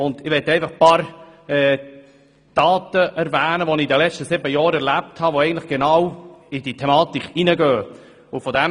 Ich möchte nur ein paar Dinge erwähnen, die ich in den letzten sieben Jahren erlebt habe, und die mit dieser Thematik zu tun haben.